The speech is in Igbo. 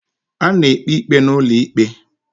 A na-ekpe ikpe n'ulo ikpe